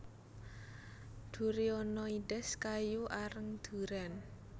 durionoides kayu areng durèn